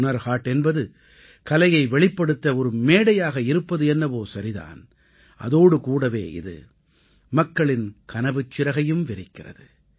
ஹுனர் ஹாட் என்பது கலையை வெளிப்படுத்த ஒரு மேடையாக இருப்பது என்னவோ சரிதான் அதோடு கூடவே இது மக்களின் கனவுச் சிறகையும் விரிக்கிறது